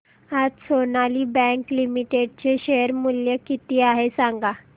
आज Sonali bank limited चे share मूल्य किती आहे सांगा